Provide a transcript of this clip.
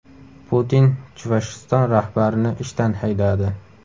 Putin Chuvashiston rahbarini ishdan haydadi.